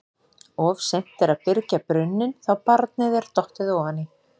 Of seint er að byrgja brunninn þá barnið er dottið ofan í.